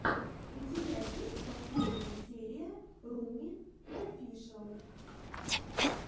у тебя есть последняя серия руми офишэл